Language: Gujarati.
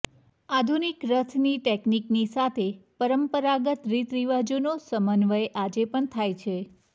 આધુનિક રથની ટેકનિકની સાથે પરંપરાગત રીતરીવાજોનો સમન્યવય આજે પણ થાય છે